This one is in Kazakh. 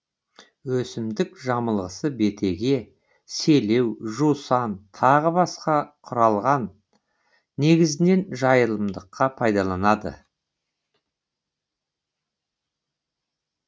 өсімдік жамылғысы бетеге селеу жусан тағы басқа құралған негізінен жайылымдыққа пайдаланылады